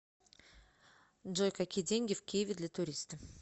джой какие деньги в киеве для туриста